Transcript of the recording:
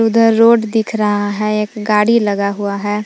उधर रोड दिख रहा है एक गाड़ी लगा हुआ है।